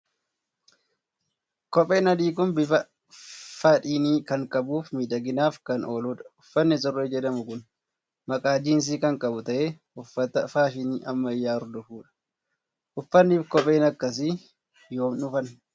Kopheen adii kun bifa faadhinii kan qabuu fi miidhaginaaf kan ooludha. Uffatni surree jedhamu kun maqaa jiinsii kan qabu ta'ee, uffata faashinii ammayyaa hordofudha. Uffatnii fi kopheen akkasii yoom dhufan?